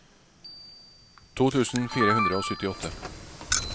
to tusen fire hundre og syttiåtte